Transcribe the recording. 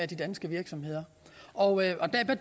de danske virksomheder og